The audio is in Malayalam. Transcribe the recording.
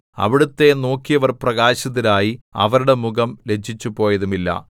അവിടുത്തെ നോക്കിയവർ പ്രകാശിതരായി അവരുടെ മുഖം ലജ്ജിച്ചുപോയതുമില്ല